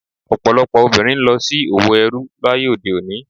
Ọ̀pọ̀lọpọ̀ obìnrin ń lọ sí òwò ẹrú láyé òde òní.